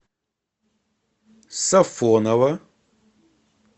сафоново